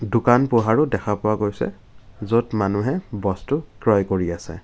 দোকান পোহাৰো দেখা পোৱা গৈছে য'ত মানুহে বস্তু ক্ৰয় কৰি আছে।